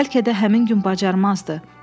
Bəlkə də həmin gün bacarmazdı.